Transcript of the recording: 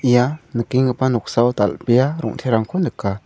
ia nikenggipa noksao dal·bea rong·terangko nika.